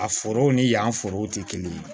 A foro ni yan forow tɛ kelen ye